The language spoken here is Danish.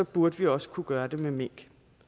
burde vi også kunne gøre det med mink